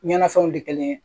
Ɲɛnafɛnw de kelen ye